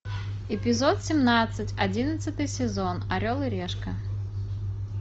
эпизод семнадцать одиннадцатый сезон орел и решка